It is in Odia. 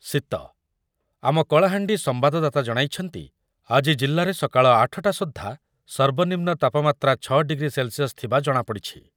ଶୀତ, ଆମ କଳାହାଣ୍ଡି ସମ୍ବାଦଦାତା ଜଣାଇଛନ୍ତି, , ଆଜି ଜିଲ୍ଲାରେ ସକାଳ ଆଠ ଟା ସୁଦ୍ଧା ସର୍ବନିମ୍ନ ତାପମାତ୍ରା ଛ ଡିଗ୍ରୀ ସେଲ୍‌ସିୟସ୍ ଥିବା ଜଣାପଡି଼ଛି